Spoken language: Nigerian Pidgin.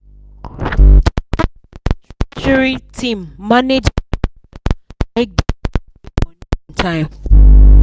the company treasury team manage money well make dem fit pay money on time